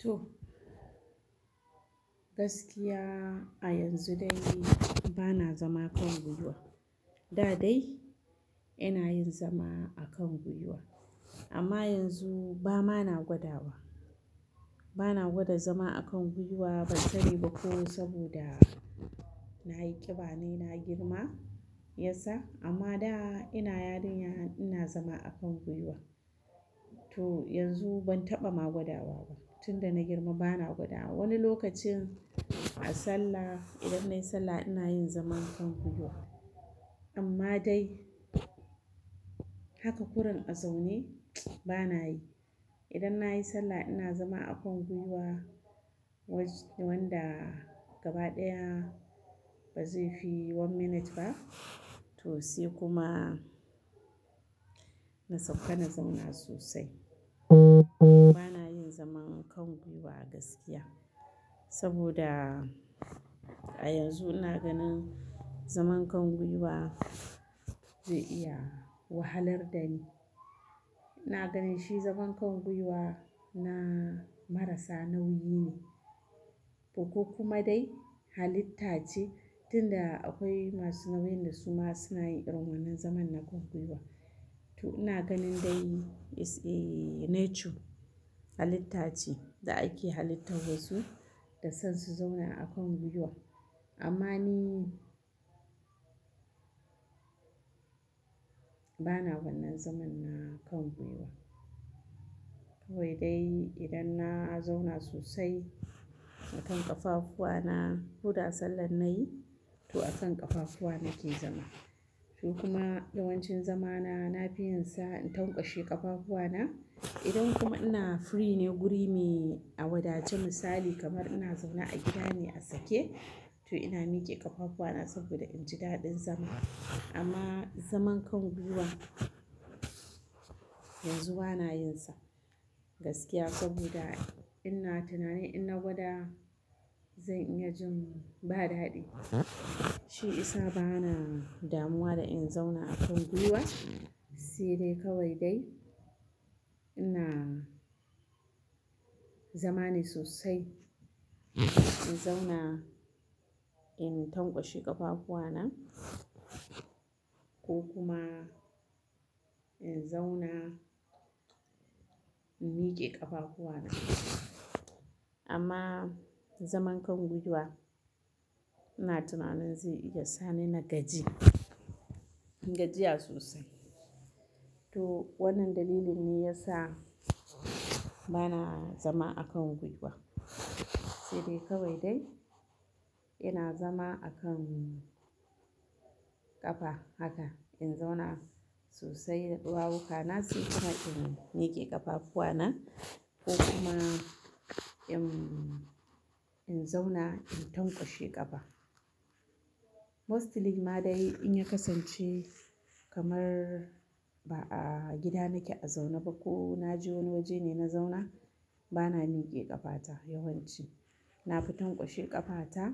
To, gaskiya, a yanzu dai bana zama a kan gwiwa. Da dai, ina yin zama a kan gwiwa, amma yanzu ba, mana gwada ba. Bana gwada zama a kan gwiwa bari ba ko saboda, nayi ƙiba nayi na girma, ya sa amma da ina yarinya ina zama a kan gwiwa. To yanzu ban taɓa ma gwada wa ba tun da na girma bana gwada. Wani lokacin a sallah idan nayi sallah ina yin zaman kan gwiwa amma dai, haka kuran a zaune bana yi. Idan nayi sallah ina zama a kan gwiwa, wajen wanda, gaba ɗaya bazai fi one minute ba to sai kuma, na sauka na zauna sosai. Bana yin zaman kan gwiwa gaskiya, saboda a yanzu ina ganin zaman kan gwiwa zai iya wahalar dani. Ina ganin shi zaman kan gwiwa na marasa nauyi ne, ko kuma dai halitta ce tunda akwai masu nauyin da suma suna yin rummanan zaman na kan gwiwa. To ina ganin dai is a nature, halitta ce, da ake halitta wasu, da son su zauna a kan gwiwa. Amma ni bana wannan zaman na kan gwiwa. Kawai dai idan na zauna sosai, a kan ƙafafuwa na huda sallar nayi, to a kan ƙafafuwa nake zama. To kuma yawancin zamana na fi yin sa in tankwashe ƙafafuwa na. Idan kuma ina free ne guri me a wadace misali kamar ina zaune a gida ne a sake, to ina mike ƙafafuwa na saboda in ji daɗin zama. Amma zaman kan gwiwa, yanzu bana yin sa. Gaskiya saboda ina tunanin in na gwada zan iya jin ba daɗi. Shi isa bana damuwa da in zauna a kan gwiwa, sai dai kawai dai ina, zama ne sosai, in zauna in tankwashe ƙafafuwa na, ko kuma in zauna, in mike ƙafafuwa na. Amma, zaman kan gwiwa ina tunanin zai iya sa ni nagaji, gajiya sosai. To wannan dalilin ne yasa bana zama a kan gwiwa, sai dai kawai dai, ina zama a kan ƙafa, haka in zauna sosai da ɗuwawuka na sai kuma in mike ƙafafuwa na ko kuma in-in zauna in tankwashe ƙafa. Mostly ma dai in ya kasance kamar ba a gida nake a zaune ba ko na je wani waje ne na zauna, bana mike ƙafa ta yawanci. Na fi tankwashe ƙafa ta,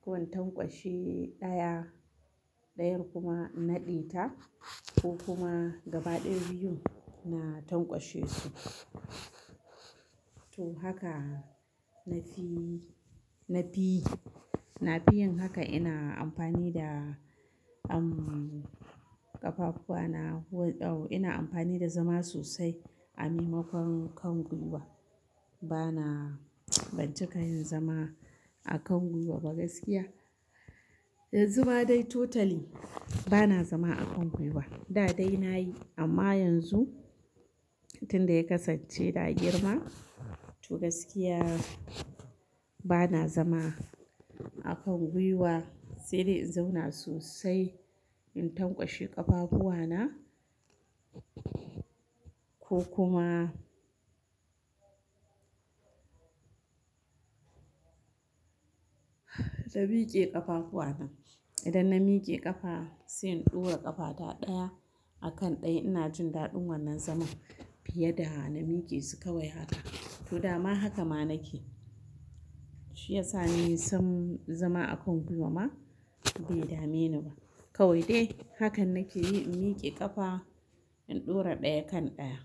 ko in tankwashe ɗaya, ɗayan kuma nade ta ko kuma gaba ɗaya biyu na tankwashe su. To haka na fi, na fiyi, na fi yin haka ina amfani da um ƙafafuwa na. Ina amfani da zama sosai a mimakon kan gwiwa. Bana, ban cika yin zama a kan gwiwa ba gaskiya. Yanzu ba dai totally bana zama a kan gwiwa. Da dai nayi amma yanzu, tun da ya kasance da girma, to gaskiya bana zama a kan gwiwa sai dai in zauna sosai in tankwashe ƙafafuwa na ko kuma na mike ƙafafuwa na. Idan na mike ƙafa, sai in ɗura ƙafa ta ɗaya, a kan ɗaya ina jin daɗin wannan zaman fiye da na mike su kawai haka. To dama haka ma nake, shi ya sa ni sam zama a kan gwiwa ma bai dame ni ba. Kawai dai, hakan nake yi in mike ƙafa in ɗura ɗaya kan ɗaya.